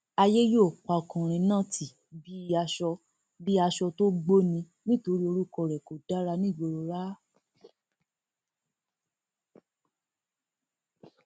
àyè yóò pa ọkùnrin náà tì bíi aṣọ bíi aṣọ tó gbó ni nítorí orúkọ rẹ kò dára nígboro ráà